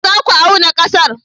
Yaushe za ku auna ƙasar?